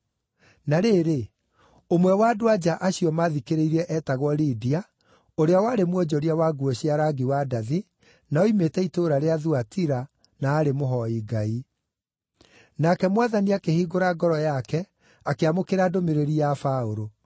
Na rĩrĩ, ũmwe wa andũ-a-nja acio maathikĩrĩirie eetagwo Lidia, ũrĩa warĩ mwonjoria wa nguo cia rangi wa ndathi, na oimĩte itũũra rĩa Thuatira, na aarĩ mũhooi Ngai. Nake Mwathani akĩhingũra ngoro yake, akĩamũkĩra ndũmĩrĩri ya Paũlũ.